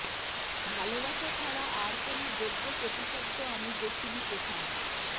ভালোবাসা ছাড়া আর কোনো যোগ্য প্রতিশব্দ আমি দেখিনি কোথাও